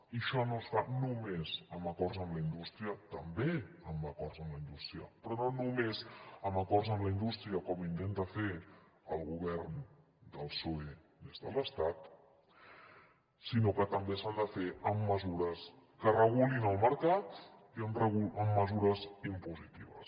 i això no es fa només amb acords amb la indústria també amb acords amb la indústria però no només amb acords amb la indústria com intenta fer el govern del psoe des de l’estat sinó que també s’ha de fer amb mesures que regulin el mercat i amb mesures impositives